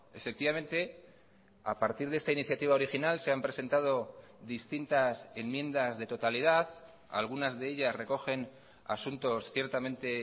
efectivamente a partir de esta iniciativa original se han presentado distintas enmiendas de totalidad algunas de ellas recogen asuntos ciertamente